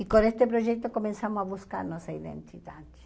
E com esse projeto começamos a buscar nossa identidade.